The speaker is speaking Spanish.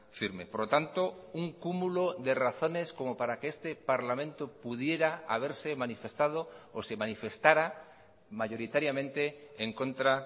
firme por lo tanto un cúmulo de razones como para que este parlamento pudiera haberse manifestado o se manifestara mayoritariamente en contra